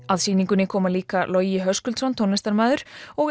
að sýningunni koma líka Logi Höskuldsson tónlistarmaður og